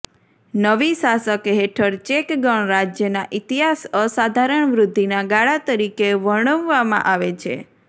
નવી શાસક હેઠળ ચેક ગણરાજ્યના ઇતિહાસ અસાધારણ વૃદ્ધિના ગાળા તરીકે વર્ણવવામાં આવે છે